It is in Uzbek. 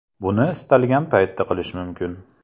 Buni istalgan paytda qilish mumkin.